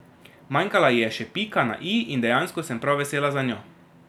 Manjkala ji je še pika na i in dejansko sem prav vesela zanjo.